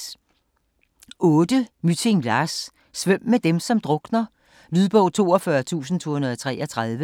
Mytting, Lars: Svøm med dem som drukner Lydbog 42233